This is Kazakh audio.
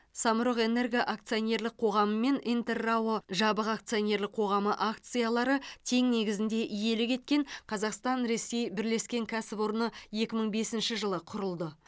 самұрық энерго акционерлік қоғамы мен интер рао жабық акционерлік қоғамы акциялары тең негізінде иелік еткен қазақстан ресей бірлескен кәсіпорны екі мың бесінші жылы құрылды